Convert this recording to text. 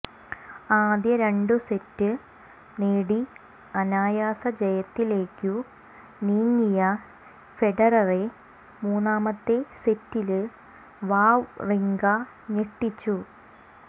ആദ്യ രണ്ടു സെറ്റ് നേടി അനായാസ ജയത്തിലേക്കു നീങ്ങിയ ഫെഡററെ മൂന്നാമത്തെ സെറ്റില് വാവ്റിങ്ക ഞെട്ടിച്ചു